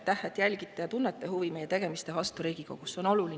Aitäh, et jälgite ja tunnete huvi meie tegemiste vastu Riigikogus!